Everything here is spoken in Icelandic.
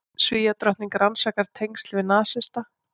Svíadrottning rannsakar tengsl við nasista